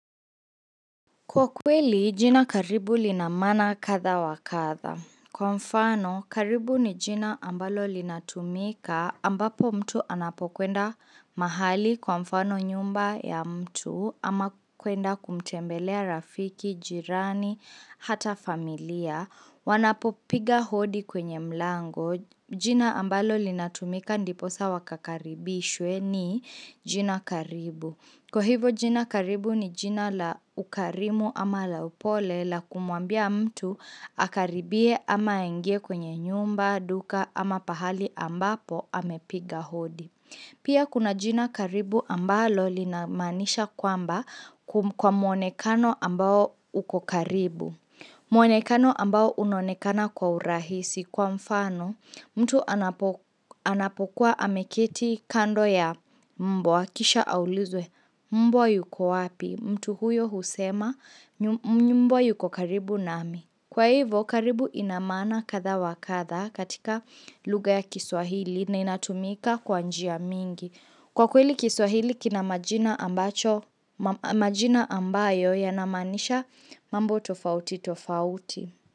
Kwa kweli, jina karibu lina maana katha wa katha. Kwa mfano, karibu ni jina ambalo linatumika ambapo mtu anapokwenda mahali kwa mfano nyumba ya mtu ama kwenda kumtembelea rafiki, jirani, hata familia. Wanapo piga hodi kwenye mlango jina ambalo linatumika ndiposa wakakaribishwe ni jina karibu. Kwa hivo jina karibu ni jina la ukarimu ama la upole la kumwambia mtu akaribie ama aingie kwenye nyumba, duka ama pahali ambapo amepiga hodi Pia kuna jina karibu ambalo linamaanisha kwamba kwa mwonekano ambao ukokaribu Mwenekano ambao unonekana kwa urahisi kwa mfano mtu anapokuwa ameketi kando ya mbwa kisha aulizwe mbwa yuko wapi mtu huyo husema mbwa yuko karibu nami. Kwa hivyo, karibu inamana katha wakatha katika luga ya kiswahili na inatumika kwanjia mingi. Kwa kweli kiswahili, kinamajina ambayo yanamanisha mambo tofauti tofauti.